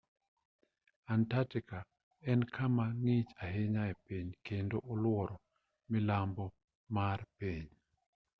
antarctica en kama ng'ich ahinya e piny kendo oluoro milambo mar piny